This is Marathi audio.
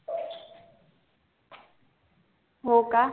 हो का